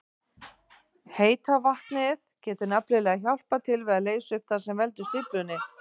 Heita vatnið getur nefnilega hjálpað til við að leysa upp það sem veldur stíflunni.